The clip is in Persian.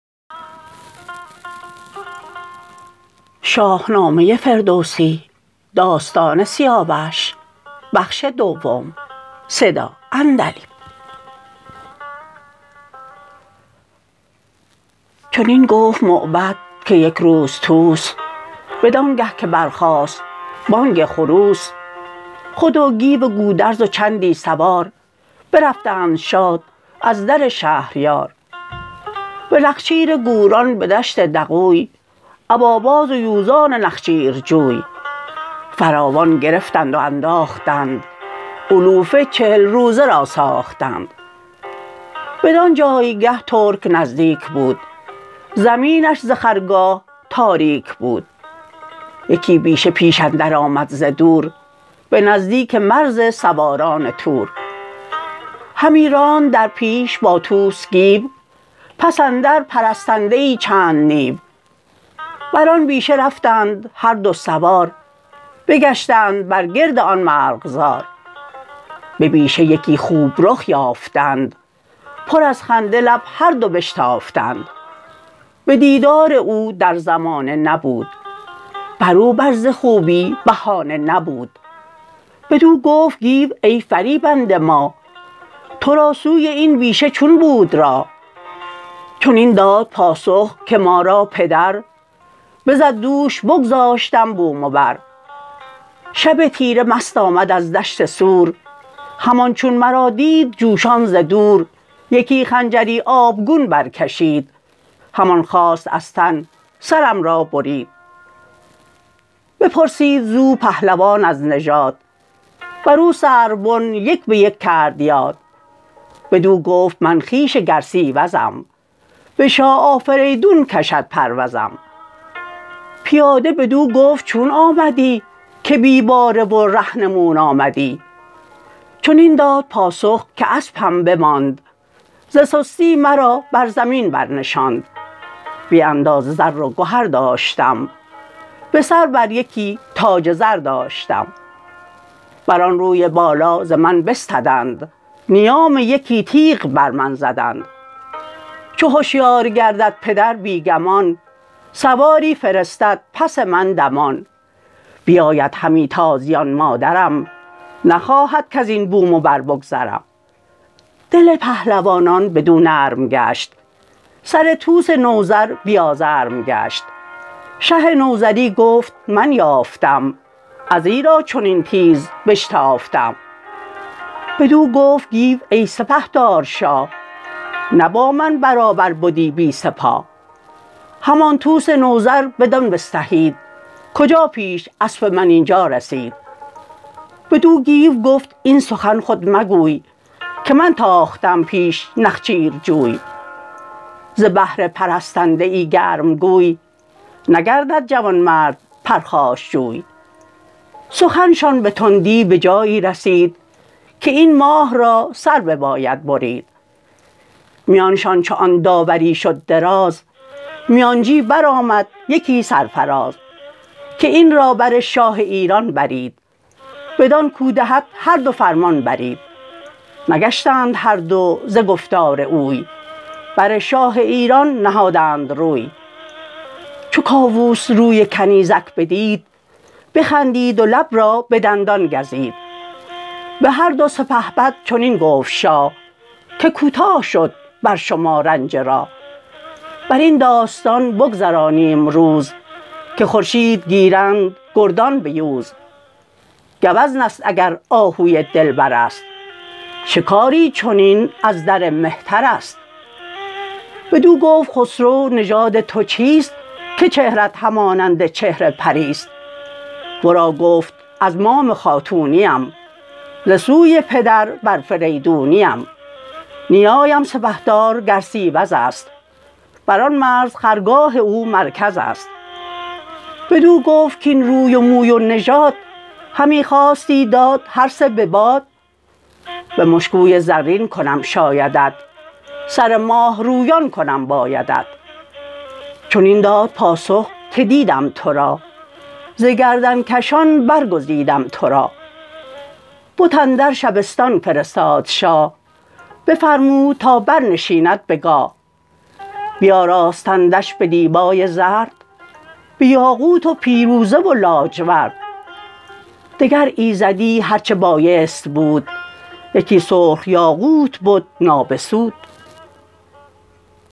چنین گفت موبد که یک روز طوس بدانگه که برخاست بانگ خروس خود و گیو گودرز و چندی سوار برفتند شاد از در شهریار به نخچیر گوران به دشت دغوی ابا باز و یوزان نخچیرجوی فراوان گرفتند و انداختند علوفه چهل روزه را ساختند بدان جایگه ترک نزدیک بود زمینش ز خرگاه تاریک بود یکی بیشه پیش اندر آمد ز دور به نزدیک مرز سواران تور همی راند در پیش با طوس گیو پس اندر پرستنده ای چند نیو بران بیشه رفتند هر دو سوار بگشتند بر گرد آن مرغزار به بیشه یکی خوب رخ یافتند پر از خنده لب هردو بشتافتند به دیدار او در زمانه نبود برو بر ز خوبی بهانه نبود بدو گفت گیو ای فریبنده ماه ترا سوی این بیشه چون بود راه چنین داد پاسخ که ما را پدر بزد دوش بگذاشتم بوم و بر شب تیره مست آمد از دشت سور همان چون مرا دید جوشان ز دور یکی خنجری آبگون برکشید همان خواست از تن سرم را برید بپرسید زو پهلوان از نژاد برو سروبن یک به یک کرد یاد بدو گفت من خویش گرسیوزم به شاه آفریدون کشد پروزم پیاده ـ بدو گفت ـ چون آمدی که بی باره و رهنمون آمدی چنین داد پاسخ که اسپم بماند ز سستی مرا بر زمین برنشاند بی اندازه زر و گهر داشتم به سر بر یکی تاج زر داشتم بران روی بالا ز من بستدند نیام یکی تیغ بر من زدند چو هشیار گردد پدر بی گمان سواری فرستد پس من دمان بیاید همی تازیان مادرم نخواهد کزین بوم و بر بگذرم دل پهلوانان بدو نرم گشت سر طوس نوذر بی آزرم گشت شه نوذری گفت من یافتم از ایرا چنین تیز بشتافتم بدو گفت گیو ای سپهدار شاه نه با من برابر بدی بی سپاه همان طوس نوذر بدان بستهید کجا پیش اسپ من اینجا رسید بدو گیو گفت این سخن خود مگوی که من تاختم پیش نخچیرجوی ز بهر پرستنده ای گرمگوی نگردد جوانمرد پرخاشجوی سخن شان به تندی بجایی رسید که این ماه را سر بباید برید میانشان چو آن داوری شد دراز میانجی برآمد یکی سرفراز که این را بر شاه ایران برید بدان کاو دهد هردو فرمان برید نگشتند هردو ز گفتار اوی بر شاه ایران نهادند روی چو کاووس روی کنیزک بدید بخندید و لب را به دندان گزید بهردو سپهبد چنین گفت شاه که کوتاه شد بر شما رنج راه برین داستان بگذرانیم روز که خورشید گیرند گردان بیوز گوزنست اگر آهوی دلبرست شکاری چنین ازدر مهترست بدو گفت خسرو نژاد تو چیست که چهرت همانند چهر پریست ورا گفت از مام خاتونیم ز سوی پدر آفریدونیم نیایم سپهدار گرسیوزست بران مرز خرگاه او مرکزست بدو گفت کاین روی و موی و نژاد همی خواستی داد هرسه به باد به مشکوی زرین کنم شایدت سر ماه رویان کنم بایدت چنین داد پاسخ که دیدم ترا ز گردنکشان برگزیدم ترا بت اندر شبستان فرستاد شاه بفرمود تا برنشیند به گاه بیاراستندش به دیبای زرد به یاقوت و پیروزه و لاجورد دگر ایزدی هرچه بایست بود یکی سرخ یاقوت بد نابسود